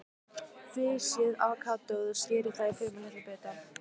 Flysjið avókadóið og skerið það í fremur litla bita.